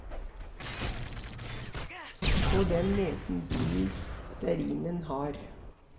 På den måten blir stearinen hard.